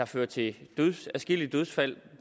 fører til adskillige dødsfald